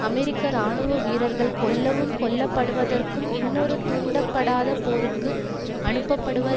அமெரிக்க இராணுவ வீரர்கள் கொல்லவும் கொல்லப்படுவதற்கும் இன்னொரு துண்டப்படாத போருக்கு அனுப்ப படுவர்